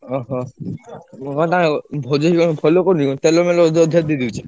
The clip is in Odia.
ଓହୋ! କଣଟା ଭଜି ଭାଇ କଣ ଭଲ କରୁନି କଣ ତେଲ ମେଲ ବୋଧେ ଅଧିକା ଦେଇଦଉଛି?